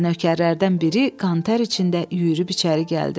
Və nökərlərdən biri qantər içində yüyürüb içəri gəldi.